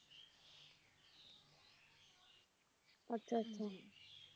ਅੱਛਾ ਅੱਛਾ